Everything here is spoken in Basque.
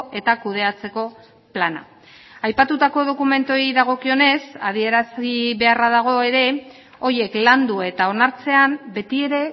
eta kudeatzeko plana aipatutako dokumentuei dagokionez adierazi beharra dago ere horiek landu eta onartzean beti ere